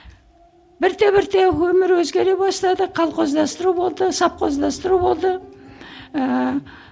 бірте бірте өмір өзгере бастады колхоздастыру болды совхоздастыру болды ыыы